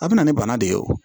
A bɛ na ni bana de ye o